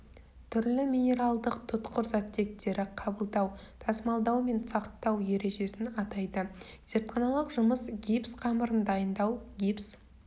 түрлі минералдық тұтқыр заттектері қабылдау тасымалдау мен сақтау ережесін атайды зертханалық жұмыс гипс қамырын дайындау гипс